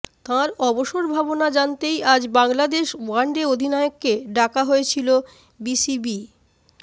তাঁর অবসর ভাবনা জানতেই আজ বাংলাদেশ ওয়ানডে অধিনায়ককে ডাকা হয়েছিল বিসিবি